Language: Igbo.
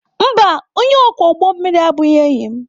Mba, onye ọkwọ ụgbọ mmiri abụghị enyi m.